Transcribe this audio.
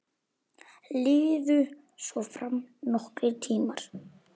Liðu svo fram nokkrir tímar.